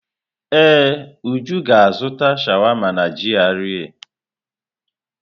Ee, Uju ga-azụta sháwámá n'GRA.